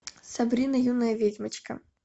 сабрина юная ведьмочка